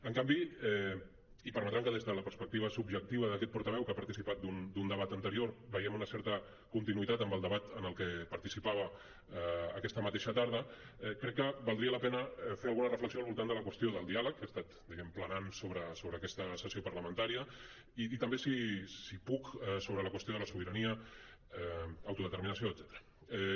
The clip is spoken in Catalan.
en canvi i permetran que des de la perspectiva subjectiva d’aquest portaveu que ha participat d’un debat anterior veiem una certa continuïtat amb el debat en el que participava aquesta mateixa tarda crec que valdria la pena fer alguna reflexió al voltant de la qüestió del diàleg que ha estat diguem ne planant sobre aquesta sessió parlamentària i també si puc sobre la qüestió de la sobirania autodeterminació etcètera